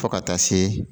Fo ka taa se